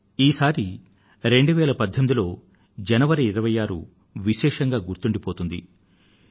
కానీ ఈసారి 2018లో జనవరి 26 వ తేదీ విశేషంగా గుర్తుండిపోతుంది